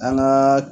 An gaa